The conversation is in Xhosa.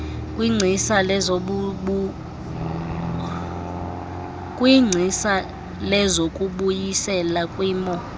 kwingcisa lezokubuyisela kwimo